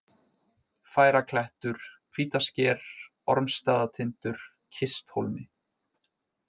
Færaklettur, Hvítasker, Ormsstaðatindur, Kisthólmi